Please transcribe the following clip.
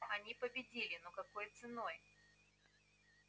они победили но какой ценой